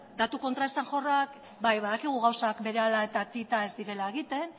datu kontraesanjorrak bai badakigu gauzak berehala eta tita ez direla egiten